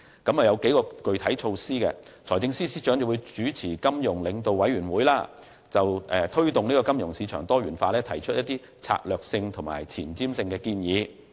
政府的具體措施計有：第一，由財政司司長主持金融領導委員會，就如何推動金融市場的多元化發展提出策略性和前瞻性的建議。